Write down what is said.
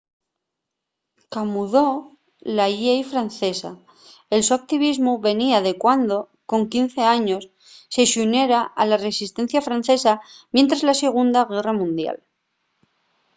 camudó la llei francesa el so activismu venía de cuando con 15 años se xuniera a la resistencia francesa mientres la segunda guerra mundial